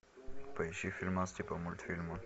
поищи фильмас типа мультфильма